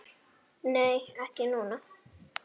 Nei, ekki núna.